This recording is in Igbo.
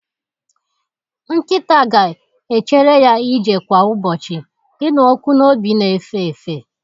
Nkịta ga-echere ya ije kwa ụbọchị, ịnụ ọkụ n'obi na-efe efe.